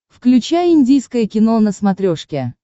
включай индийское кино на смотрешке